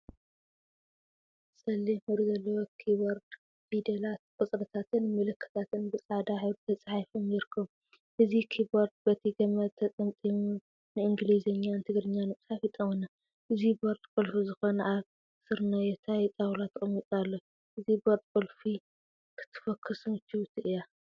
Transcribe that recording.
ፀሊም ሕብሪ ዘለዎ ኪቦርድ ፊደላት፣ ቁፅሪታትን ምልክታትን ብፃዕዳ ሕብሪ ተፃሒፎም ይርከቡ፡፡ አዚ ኪቦርድ በቲ ገመዱ ተጠምጢሙ ንእንግሊዘኛን ትግርኛን ንምፅሓፍ ይጠቅመና፡፡ እዚ ቦርድ ቁልፊ ዝኮነ አብ ስርናየታይ ጣውላ ተቀሚጡ ይርከብ፡፡ እዛ ቦርድ ቁልፊ ክትፎክስ ምችውቲ እያ፡፡